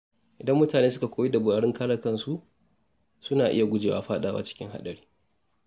Idan mutane suka koyi dabarun kare kansu, suna iya gujewa fadawa cikin haɗari.